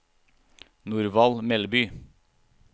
Norvald Melby